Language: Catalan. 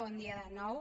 bon dia de nou